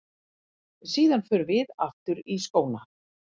Síðan förum við aftur í skóna.